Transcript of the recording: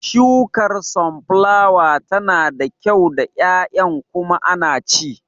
Shukar sunflower tana da kyau da ƴaƴan kuma ana ci